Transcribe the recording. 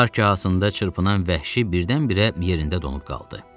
Dar kahasında çırpınan vəhşi birdən-birə yerində donub qaldı.